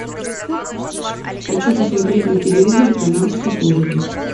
хочу посмотреть на телевизоре канал психологи